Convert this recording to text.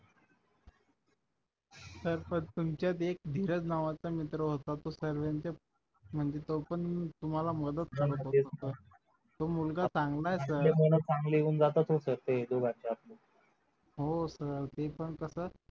sir पण तुमच्यात एक धीरज नावाचा मित्र होता तो सर्वांच्या म्हणजे तो पण तुम्हाला मदत करत होता तो मुलगा चांगला आहे sir हो sir ते पण कसं